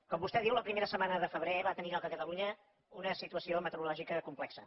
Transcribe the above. com vostè diu la primera setmana de febrer va tenir lloc a catalunya una situació meteorològica complexa